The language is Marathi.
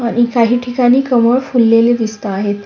आणि काही ठिकाणी कमळ फुलेले दिसता आहेत.